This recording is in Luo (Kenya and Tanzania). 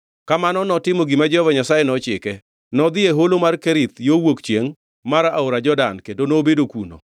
Kamano notimo gima Jehova Nyasaye nochike. Nodhi e holo mar Kerith yo ka wuok chiengʼ mar aora Jordan kendo nobedo kuno.